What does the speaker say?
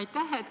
Aitäh!